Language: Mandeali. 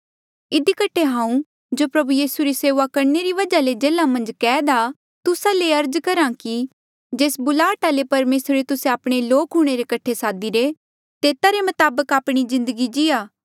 इधी कठे हांऊँ जो प्रभु यीसू री सेऊआ करणे री वजहा ले जेल्हा मन्झ कैद आ तुस्सा ले अर्ज करहा कि जेस बुलाहटा ले परमेसरे तुस्से आपणे लोक हूंणे रे कठे सादीरे तेता रे मताबक आपणी जिन्दगी जीया